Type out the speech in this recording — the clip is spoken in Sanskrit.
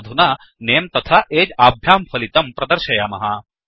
वयमधुना नमे तथा अगे आभ्यां पलितं प्रदर्शयामः